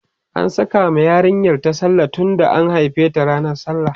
an Saka ma yarinyar ta sallah tunda an haife ta ranan sallah